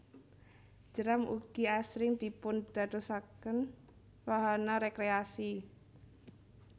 Jeram ugi asring dipun dadosaken wahana rekreasi